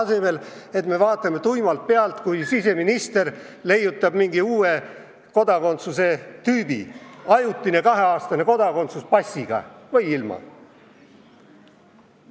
Selle asemel vaatame tuimalt pealt, kui siseminister leiutab mingi uue kodakondsuse tüübi: ajutine kaheaastane kodakondsus passiga või ilma?